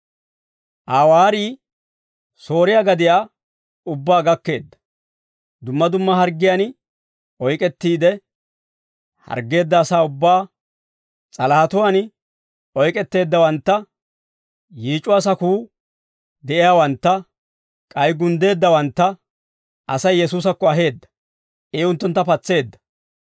Aa waarii Sooriyaa gadiyaa ubbaa gakkeedda; dumma dumma harggiyaan oyk'ettiide harggeedda asaa ubbaa, s'alahatuwaan oyk'etteeddawantta, yiic'uwaa sakuu de'iyaawantta, k'ay gunddeeddawantta Asay Yesuusakko aheedda; I unttuntta patseedda.